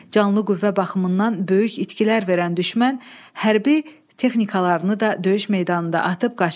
Canlı qüvvə baxımından böyük itkilər verən düşmən hərbi texnikalarını da döyüş meydanında atıb qaçdı.